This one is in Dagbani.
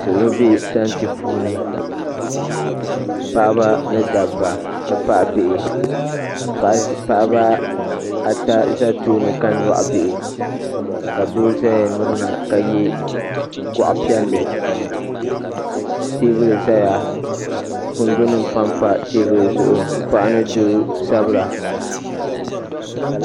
Salo be tanti puuni paɣaba ni dabba n ti pahi bihi paɣaba ata za tooni ka nyaɣi bihi ka doo zaya mirina ka ye goɣa piɛlli teebuli zaya kundu nima pampa teebuli zaɣa paɣa ni doo sabira.